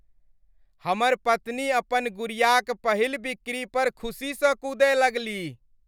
हमर पत्नी अपन गुड़ियाक पहिल बिक्री पर खुसीसँ कूदय लगलीह।